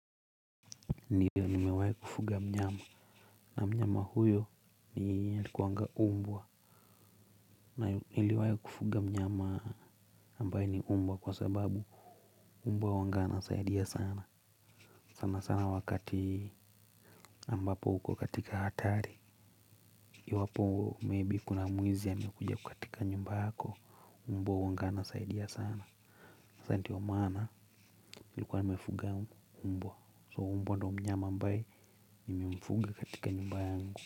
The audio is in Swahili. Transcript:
Ndiyo nimewahi kufuga mnyama na mnyama huyo ni alikuanga mbwa na niliwahi kufuga mnyama ambaye ni mbwa kwa sababu mbwa huwanga anasaidia sana, sana sana wakati ambapo uko katika hatari iwapo maybe kuna mwizi aliyekuja katika nyumba yako, mbwa huwanga anasaidia sana, sasa ndio maana nilikuwa nimefuga mbwa, so mbwa ndio mnyama ambaye nilimfuga katika nyumba yangu.